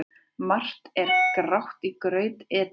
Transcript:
Margt er grátt í graut etið.